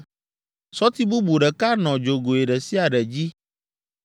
Sɔti bubu ɖeka nɔ dzogoe ɖe sia ɖe dzi.